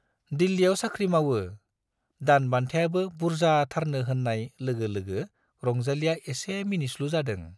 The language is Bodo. दिल्लीयाव साख्रि मावो, दान बान्थायाबो बुर्जाथारनो होन्नाय लोगो लोगो रंजालीया एसे मिनिस्लु जादों।